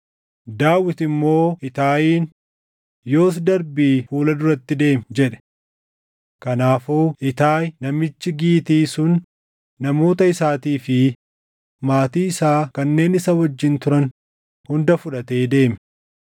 Daawit immoo Itaayiin, “Yoos darbii fuula duratti deemi” jedhe. Kanaafuu Itaayi namichi Gitii sun namoota isaatii fi maatii isaa kanneen isa wajjin turan hunda fudhatee deeme.